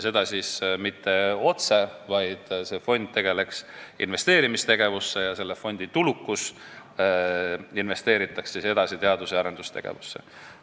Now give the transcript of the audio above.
Seda mitte otse, vaid loodav fond tegeleks investeerimisega ja selle fondi tulud investeeritaks edasi teadus- ja arendustegevusse.